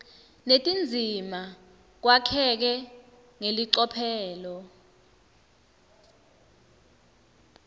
netindzima kwakheke ngelicophelo